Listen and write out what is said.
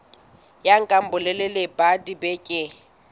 ya nka bolelele ba dibeke